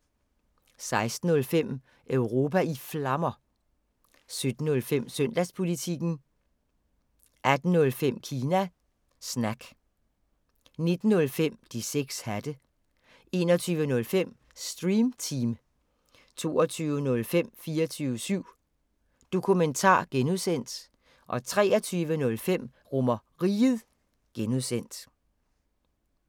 16:05: Europa i Flammer 17:05: Søndagspolitikken 18:05: Kina Snak 19:05: De 6 hatte 21:05: Stream Team 22:05: 24syv Dokumentar (G) 23:05: RomerRiget (G)